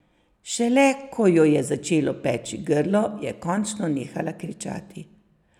Šele ko jo je začelo peči grlo, je končno nehala kričati.